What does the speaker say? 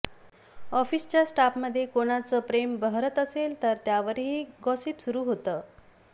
ऑफिसच्या स्टाफमध्ये कोणाच प्रेम बहरत असेल तर त्यावरही गॉसिप सुरू होत